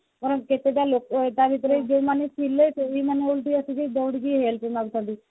ବରଂ କେତେଟା ଲୋକ ତା ଭିତରେ ଯୋଉମାନେ ଥିଲେ ସେଇ ମାନେ ହଉ ଟିକେ ଦଉଡିକି help କରୁଛନ୍ତି